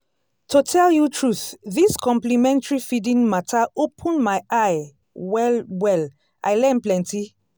to tell you truth this complementary feeding matter open my eye well-well i learn plenty.